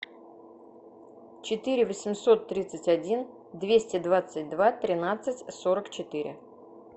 четыре восемьсот тридцать один двести двадцать два тринадцать сорок четыре